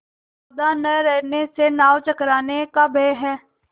सावधान न रहने से नाव टकराने का भय है